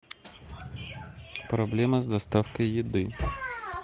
проблема с доставкой еды